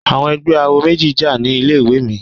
Àwọn ẹgbẹ́ awo méjì jà ní ilé ìwé mi.